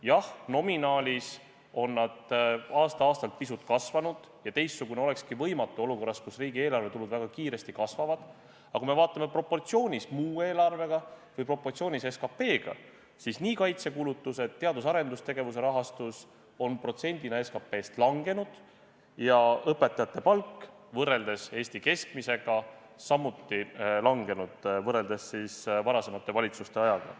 Jah, nominaalis on nad aasta-aastalt pisut kasvanud ja teistsugune olekski võimatu olukorras, kus riigieelarvetulud väga kiiresti kasvavad, aga kui me vaatame proportsioonis muu eelarvega või proportsioonis SKT-ga, siis kaitsekulutused ning teadus- ja arendustegevuse rahastus on protsendina SKT-st langenud, samuti õpetajate palk võrrelduna Eesti keskmisega – võrreldes varasemate valitsuste ajaga.